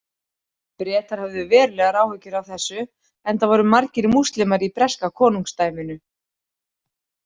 Bretar höfðu verulegar áhyggjur af þessu enda voru margir múslimar í breska konungsdæminu.